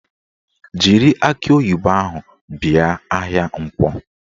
Jiri akị oyibo ahụ bịa ahịa Nkwọ!